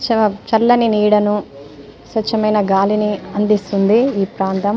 చ చల్లని నీడను స్వచ్ఛమైన గాలిని అందిస్తుంది ఈ ప్రాంతం.